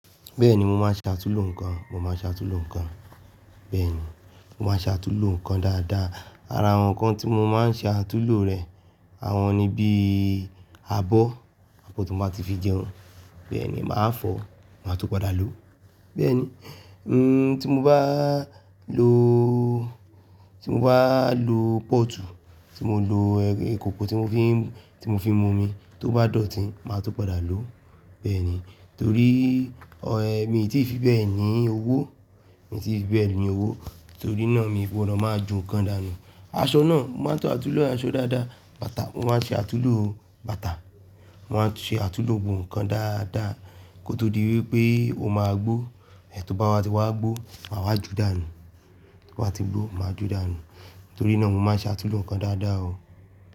Bẹ́ẹ̀ni mo máa ń ṣe àtulò ǹnkan, mo máa ń ṣe àtulò ǹnkan. Bẹ́ẹ̀ni, mo máa ṣe àtulò ǹkan dáadáa. Ara àwọn ǹnkan tí mo máa ń ṣe àtulò rẹ̀, àwọn ni bíi abọ́, abọ́ tó bá ti fi jẹun, bẹ́ẹ̀ ni máa fọ̀, màá tún padà lò ó. Bẹ́ẹ̀ni, ẹ́ ti mo bá lo, tí mo bá lo pọ́ọ̀tù, tí mo lo e-ekòkò tí mo fi ń, tí mo fi ń mu omi, tó bá dọ̀tí, màá tún padà lò ó. Bẹ́ẹ̀ni. Torí ọ̀ ẹ́ mi ò tí ì fi bẹ́ẹ̀ ní owó, mi ò tí ì fi bẹ́ẹ̀ ní owó, torí náà mi ò gbodo máa ju nǹkan dànù. Aṣọ náà, mo máa ń tún àtulò aṣọ dáadáa. Bàtà, mo máa ń ṣe àtulò bàtà, màá ṣe àtulò gnbo ǹnkan dáadáa kó tó di wípé ó máa gbó. Ẹ̀tò bá ma tí wá gbó, màá wá ju dànù. Tó bá ti gbó, màá ju dànù. Torí náà mo máa ń ṣe àtulò ǹnkan dáadáa o.